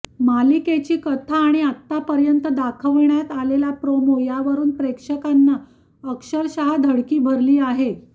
मालिकेची कथा आणि आतापर्यंत दाखवण्यात आलेले प्रोमो यावरून प्रेक्षकांना अक्षरशः धडकी भरली आहे